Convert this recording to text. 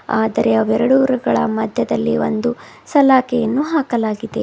ಆದರೆ ಅವ ಎರಡುಗಳ ಮದ್ಯದಲ್ಲಿ ಒಂದು ಸಲಾಕೆಯನ್ನು ಹಾಕಲಾಗಿದೆ.